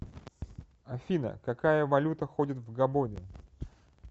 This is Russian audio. афина какая валюта ходит в габоне